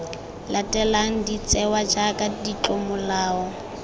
latelang de tsewa jaaka ditlomolao